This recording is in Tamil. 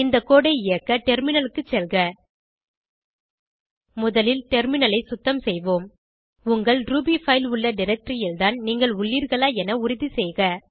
இந்த கோடு ஐ இயக்க டெர்மினலுக்கு செல்க முதலில் டெர்மினலை சுத்தம் செய்வோம் உங்கள் ரூபி பைல் உள்ள டைரக்டரி ல் தான் நீங்கள் உள்ளீர்களா என உறுதிசெய்க